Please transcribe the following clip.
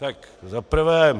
Tak za prvé.